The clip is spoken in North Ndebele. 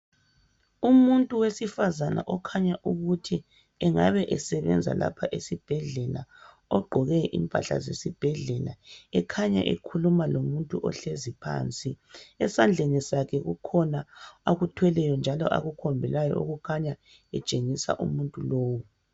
Umuntu wesifazana okhanya ukuthi engabe esebenza lapha esibhedlela ogqoke impahla zesibhedlela ekhanya ekhuluma lomuntu ohlezi phansi. Esandleni sakhe kukhona akuthweleyo njalo akukhombelayo okukhanya etshengisa umuntu lowu..